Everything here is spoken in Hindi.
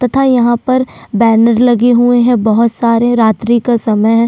तथा यहाँ पर बैनर लगे हुए है बहुत सारे रात्रि का समय है।